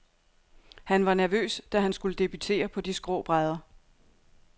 Han var nervøs, da han skulle debutere på de skrå brædder.